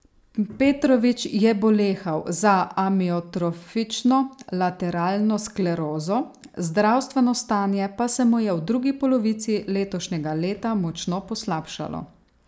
Petrović je bolehal za amiotrofično lateralno sklerozo, zdravstveno stanje pa se mu je v drugi polovici letošnjega leta močno poslabšalo.